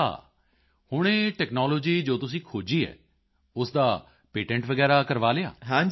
ਅੱਛਾ ਹੁਣ ਇਹ ਟੈਕਨਾਲੋਜੀ ਜੋ ਤੁਸੀਂ ਖੋਜੀ ਹੈ ਉਸ ਦਾ ਪੇਟੈਂਟ ਵਗੈਰਾ ਕਰਵਾ ਲਿਆ